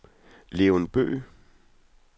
Leon Bøgh